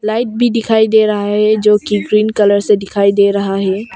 Light भी दिखाई दे रहा है जो कि ग्रीन कलर से दिखाई दे रहा है।